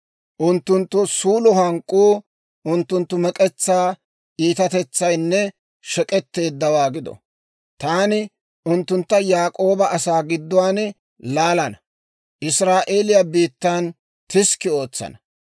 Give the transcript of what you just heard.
Unttunttu suulo hank'k'uu unttunttu mek'etsaa iitatetsaynne shek'etteeddawaa gido! Taani unttuntta Yaak'ooba asaa gidduwaan laalana; Israa'eeliyaa biittaan tiskki ootsana.